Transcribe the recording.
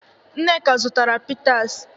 Nneka zụtara pịtas.